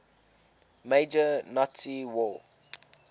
major nazi war